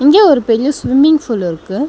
இங்க ஒரு பெரிய ஸ்விம்மிங் ஃபூல் இருக்கு.